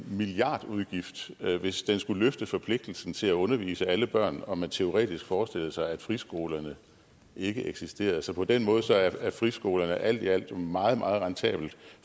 milliardudgift hvis den skulle løfte forpligtelsen til at undervise alle børn om man teoretisk forestillede sig at friskolerne ikke eksisterede så på den måde er friskolerne jo alt i alt meget meget rentable